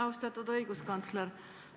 Austatud õiguskantsler!